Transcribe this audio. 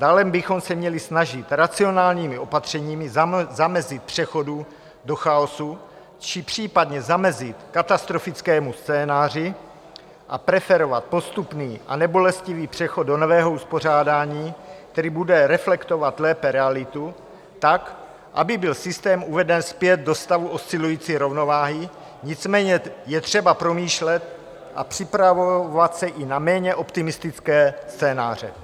Dále bychom se měli snažit racionálními opatřeními zamezit přechodu do chaosu, či případně zamezit katastrofickému scénáři a preferovat postupný a nebolestivý přechod do nového uspořádání, který bude reflektovat lépe realitu tak, aby byl systém uveden zpět do stavu oscilující rovnováhy, nicméně je třeba promýšlet a připravovat se i na méně optimistické scénáře.